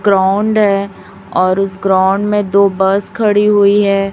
Ground और उसे ground में दो बस खड़ी हुई है।